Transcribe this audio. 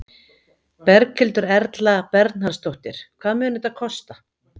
Berghildur Erla Bernharðsdóttir: Hvað mun þetta kosta?